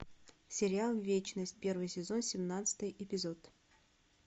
сериал вечность первый сезон семнадцатый эпизод